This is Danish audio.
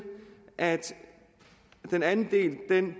at den anden del